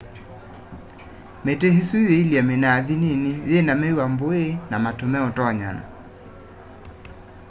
miti isu yielye minathi nini yina miva mbũi na matu meutonyana